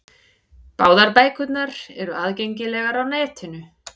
Báðar bækurnar eru aðgengilegar á netinu.